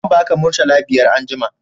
Zan ba ka murtala biyar anjima